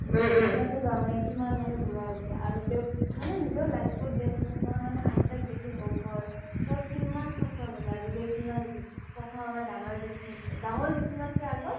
কিমানযে বুঢ়া হৈছে আৰু তেওঁক মানে নিজৰ life তোক মানে আইটাক দেখি গম পালোঁ কিমান suffer কৰিলে আজিলৈকে কিমান দেখিল প্ৰথম আমাৰ ডাঙৰ জেথিমা, ডাঙৰ জেথিমাত কে আগত